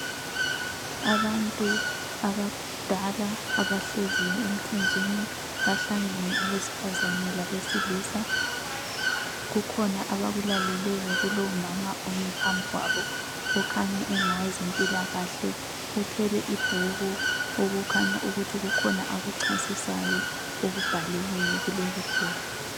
Abantu abadala abahleziyo emthunzini ,bahlangene abesifazane labesilisa, kukhona abakulaleleyo kulowu mama omi phambi kwabo okhanya engowezempilakahle , uthwele ibhuku okukhanya ukuthi kukhona akuchasisayo okubhaliweyo kuleli ibhuku